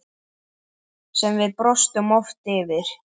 Sem við brostum oft yfir.